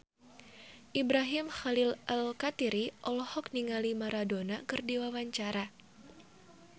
Ibrahim Khalil Alkatiri olohok ningali Maradona keur diwawancara